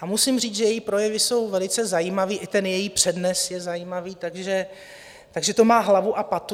A musím říct, že její projevy jsou velice zajímavé, i její přednes je zajímavý, takže to má hlavu a patu.